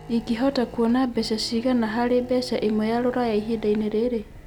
ĩngihota kũona mbeca cigana harĩ mbeca ĩmwe ya rũraya ĩhĩnda-inĩ rĩrĩ